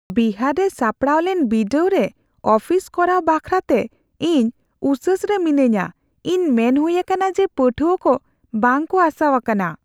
ᱵᱤᱦᱟᱨ ᱨᱮ ᱥᱟᱯᱲᱟᱣ ᱞᱮᱱ ᱵᱤᱰᱟᱹᱣ ᱨᱮ ᱚᱯᱷᱤᱥ ᱠᱚᱨᱟᱣ ᱵᱮᱠᱷᱨᱟᱛᱮ ᱤᱧ ᱩᱥᱟᱹᱥ ᱨᱮ ᱢᱤᱱᱟᱹᱧᱟ ᱾ ᱤᱧ ᱢᱮᱱ ᱦᱩᱭ ᱟᱠᱟᱱᱟ ᱡᱮ ᱯᱟᱹᱴᱷᱩᱣᱟᱹ ᱠᱚ ᱵᱟᱝ ᱠᱚ ᱟᱥᱟᱣᱟᱠᱟᱱᱟ ᱾